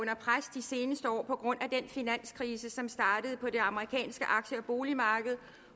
de seneste år på grund af den finanskrise som startede på det amerikanske aktie og boligmarked